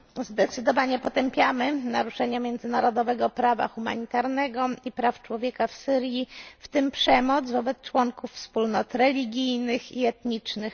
Zdecydowanie potępiamy naruszenie międzynarodowego prawa humanitarnego i praw człowieka w Syrii, w tym przemoc wobec członków wspólnot religijnych i etnicznych.